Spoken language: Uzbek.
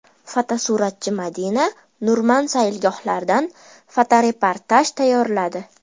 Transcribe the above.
Fotosuratchi Madina Nurman saylgohlardan fotoreportaj tayyorladi.